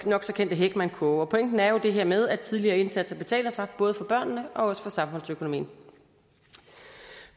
nok så kendte heckmannkurve og pointen er jo det her med at tidlige indsatser betaler sig både for børnene og for samfundsøkonomien